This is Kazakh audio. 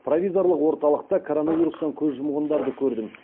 провизорлық орталықта коронавирустан көз жұмсандарды көрдім